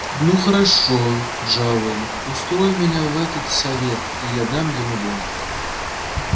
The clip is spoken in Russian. ну хорошо джаэль устрой меня в этот совет и я дам ему бой